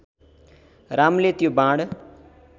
रामले त्यो बाण